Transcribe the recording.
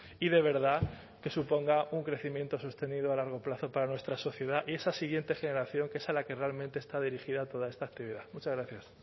y de verdad que suponga un crecimiento sostenido a largo plazo para nuestra sociedad y esa siguiente generación que es a la que realmente está dirigida toda esta actividad muchas gracias